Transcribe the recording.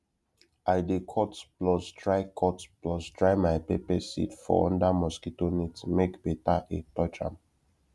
i dey cut plus dry cut plus dry my pepper seed for under mosquito net make better air touch ahm